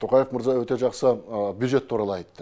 тоқаев мырза өте жақсы бюджет туралы айтты